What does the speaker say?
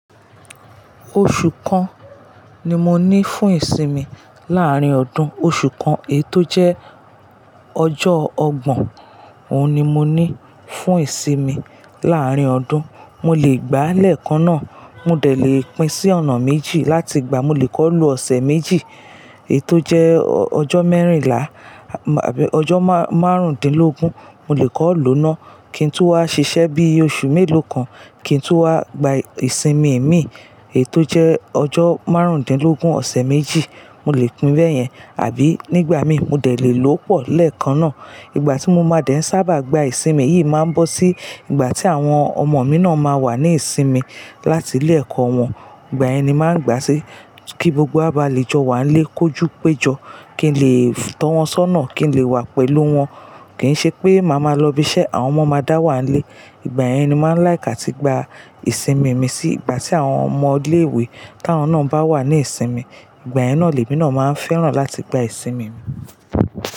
Oṣù kan ni mo ní fún ìsinmi láàárín ọdún. Oṣù kan èyi tò jẹ́ ọjọ́ ọgbọ̀n, òun ni mo ní fún ìsinmi láàárín ọdún. Mo lè gbàá lẹ́ẹ̀kan náà. Mo dẹ̀ lè pín sí ọ̀nà méjì láti gbàá, mo lè kọ́ko lo ọ̀sẹ̀ méjì èyi tò jẹ́ ọjọ́ mẹ́rìnlá, àbí ọjọ́ márùndínlógún. Mo lè kọ́ko lo náà. Kí n tú wá ṣiṣẹ́ bí i oṣù mélòó kan, kí n tú wá gba ìsinmi mi èyi tò jẹ́ ọjọ́ márùndínlógún ọ̀sẹ̀ méjì, mo lè pín bẹ́ yẹn. Àbí nígbà mi, mo dẹ̀ lè lo pọ̀ lẹ́ẹ̀kan náà. Ìgbà tí mo máa dẹ̀ sábà gba ìsinmi yìí máa ń bọ́ sí ìgbà tí àwọn ọmọ mi náà máa wà ní ìsinmi láti ilé ẹ̀kọ́ wọn. Ìgbà yẹn ni máa ń gbà sí. Kí gbogbo wa bá le jọ wá nílé kojú pẹ́ jọ, kí n lè tọ́ wọn sọ́nà, kí n lè wà pẹ̀lú wọn. Kì í ṣe pé màá máa lọ ibi iṣẹ́ àwọn ọmọ máa dá wá nílé. Ìgbà yẹn ni máa ń like áti gba ìsinmi mi sí ìgbà tí àwọn ọmọ ilé ìwé tá wọn náà bá wà ní ìsinmi. Ìgbà yẹn náà lèmi náà máa ń fẹ́ràn láti gba ìsinmi mi.